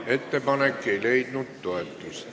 Ettepanek ei leidnud toetust.